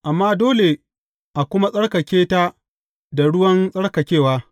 Amma dole a kuma tsarkake ta da ruwan tsarkakewa.